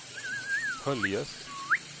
Höljes